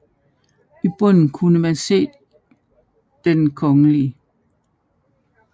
I bunden kunne man se Den Kgl